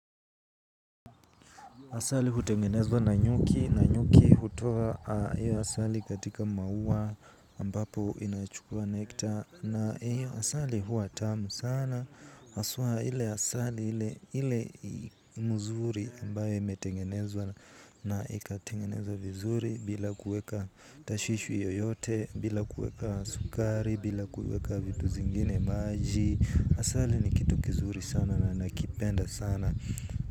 Asali hutengenezwa na nyuki, na nyuki hutoa iyo asali katika maua mbapo inachukua nektar na ayo asali huwa tamu sana haswa ile asali ile mzuri ambayo imetengenezwa na ikatengenezwa vizuri bila kuweka tashishu yoyote bila kuweka sukari bila kuweka vitu zingine maji asali ni kitu kizuri sana na nakipenda sana.